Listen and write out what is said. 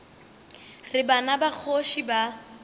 re bana ba kgoši ba